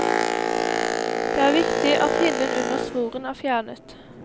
Det er viktig at hinnen under svoren er fjernet.